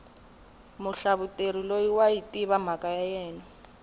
muhlavuteri loyi wayi tiva mhaka ya yena